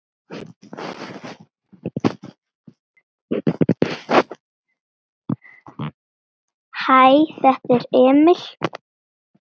Hæ, þetta er Emil.